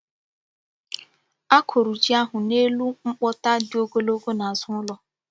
Akụ̀rụ̀ jí ahụ n’elu mkpóta dị ogọ́lọgo n’azụ ụlọ.